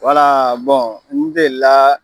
n deli la